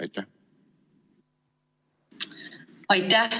Aitäh!